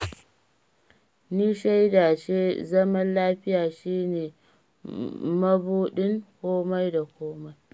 Ni shaida ce zaman lafiya shi ne mabuɗin komai da komai